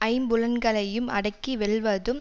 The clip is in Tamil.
ஐம் புலன்களையும் அடக்கி வெல்வதும்